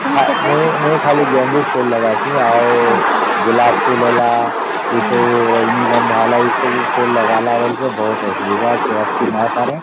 ମୁଇ ଖାଲି ଗେଂଡୁ ଫୁଲ ଲଗସଇ ଆଉ ଗୋଲାପ ଫୁଲ ହେଲା ଏ ସବୁ ରଜନୀଗନ୍ଧା ହେଲା ଏ ସବୁ ଫୁଲ ଲଗାଲେ ବେଳେ ବହୁତ ଅସୁବିଧା care କେ ନେଇ ନ ପରେ